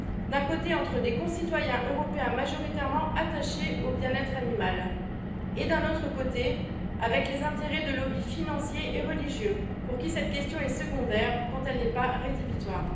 D'un côté, avec des concitoyens européens majoritairement attachés au bien être animal et d'un autre côté, avec les intérêts de lobbies financiers et religieux, pour qui cette question est secondaire quand elle n'est pas rédhibitoire.